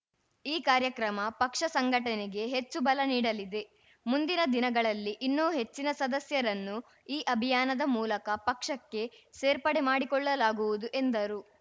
ಈ ಕಾರ್ಯಕ್ರಮ ಪಕ್ಷ ಸಂಘಟನೆಗೆ ಹೆಚ್ಚು ಬಲ ನೀಡಲಿದೆ ಮುಂದಿನ ದಿನಗಳಲ್ಲಿ ಇನ್ನೂ ಹೆಚ್ಚಿನ ಸದಸ್ಯರನ್ನು ಈ ಅಭಿಯಾನದ ಮೂಲಕ ಪಕ್ಷಕ್ಕೆ ಸೇರ್ಪಡೆ ಮಾಡಿಕೊಳ್ಳಲಾಗುವುದು ಎಂದರು